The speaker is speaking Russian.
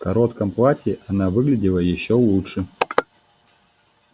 в коротком платье она выглядела ещё лучше